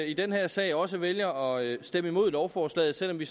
i den her sag også vælger at stemme imod lovforslaget selv om vi